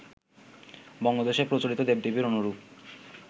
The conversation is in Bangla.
বঙ্গদেশে প্রচলিত দেব-দেবীর অনুরূপ